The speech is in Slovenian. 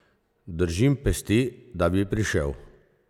Držim pesti, da bi prišel!